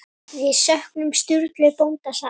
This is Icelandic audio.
Við söknum Sturlu bónda sárt.